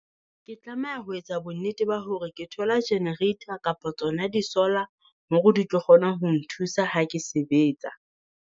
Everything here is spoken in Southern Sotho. Ke tlameha ho etsa bo nnete ba hore ke thola generator kapa tsona di solar, hore di tlo kgona ho nthusa ha ke sebetsa.